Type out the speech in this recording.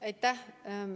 Aitäh!